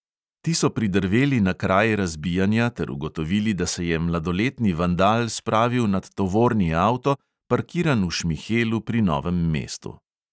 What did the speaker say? Ti so pridrveli na kraj razbijanja ter ugotovili, da se je mladoletni vandal spravil nad tovorni avto, parkiran v šmihelu pri novem mestu.